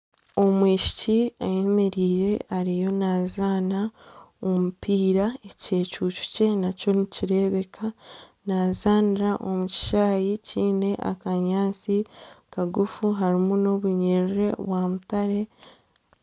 omwishiki ayemereire ariyo naazaana omupiira, ekyecuucu kye nikireebeka naazaanira omu kishaayi kiine akanyaatsi kagufu harimu n'obunyerere bwamutare